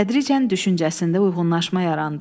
Tədricən düşüncəsində uyğunlaşma yarandı.